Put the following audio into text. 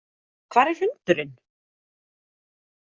Hvar er hundurinn?